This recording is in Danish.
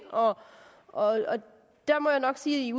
og der må jeg nok sige